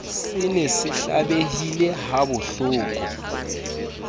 se ne se hlabehile habohloko